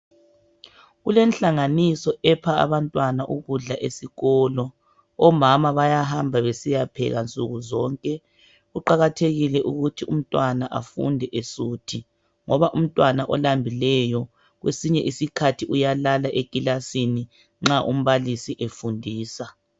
Kulenhlanganiso epha abantwana ukudla esikolo. Omama bayahamba besiya pheka nsukuzonke. Kuqakathekile ukuthi umntwana efunde esuthi, ngoba umntwana olambileyo kwesinye isikhathi uyalala ekilasini nxa umbalisi efundisa.